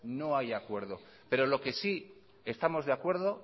no hay acuerdo pero lo que sí estamos de acuerdo